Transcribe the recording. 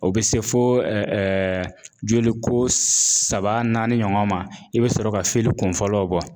O bɛ se fo joli ko saba naani ɲɔgɔn ma i bɛ sɔrɔ ka kun fɔlɔw bɔ